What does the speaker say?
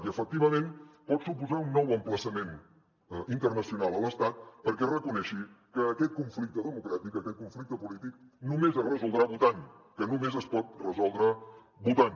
i efectivament pot suposar un nou emplaçament internacional a l’estat perquè reconegui que aquest conflicte democràtic aquest conflicte polític només es resoldrà votant que només es pot resoldre votant